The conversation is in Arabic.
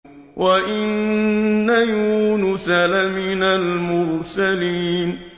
وَإِنَّ يُونُسَ لَمِنَ الْمُرْسَلِينَ